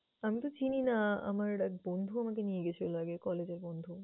আমি তো চিনি না, আমার এক বন্ধু আমাকে নিয়ে গেছিল আগে college এর বন্ধু।